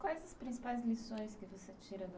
Quais as principais lições que você tira da...